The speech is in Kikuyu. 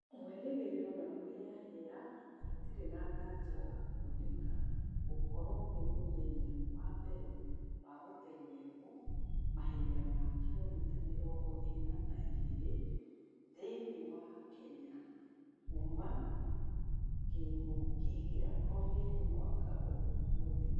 Mwĩrĩgiriro na kũheahea hatire na ngaja wa kuoneka gũkorwa ni mũthenya wambere wa gũtengerwo mahenya ma kilomita mirongo ĩna na igĩrĩ thiĩnĩ wa kenya kuũma kinguki gia covid mwaka mũthiru